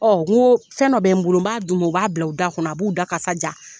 N go fɛn dɔ bɛ n bolo b'a d'u ma, u b'a bila, u da kɔnɔ, a b'u da kasa ja.